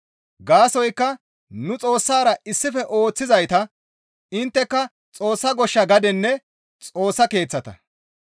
Gaasoykka nu Xoossara issife ooththizayta; intteka Xoossa goshsha gadenne Xoossa Keeththata.